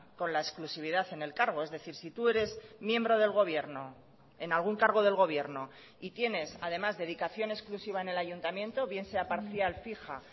con la exclusividad en el cargo es decir si tu eres miembro del gobierno en algún cargo del gobierno y tienes además dedicación exclusiva en el ayuntamiento bien sea parcial fija